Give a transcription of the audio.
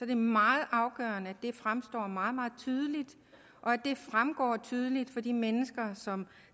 det meget afgørende at det fremstår meget meget tydeligt og at det fremgår tydeligt for de mennesker som